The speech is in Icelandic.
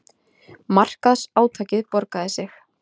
Markaðsátakið borgaði sig